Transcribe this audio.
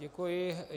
Děkuji.